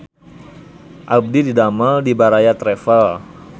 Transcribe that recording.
Abdi didamel di Baraya Travel